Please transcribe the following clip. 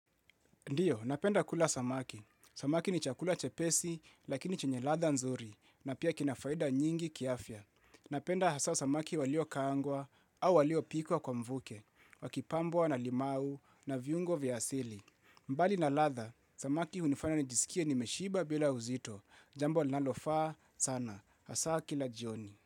Ndiyo, napenda kula samaki. Samaki ni chakula chepesi, lakini chenye ladha nzuri, na pia kina faida nyingi kiafya. Napenda hasa samaki waliokaangwa, au waliopikwa kwa mvuke, wakipambwa na limau, na viungo vya asili. Mbali na ladha, samaki hunifanya nijisikie nimeshiba bila uzito, jambo linalofaa sana, hasa kila jioni.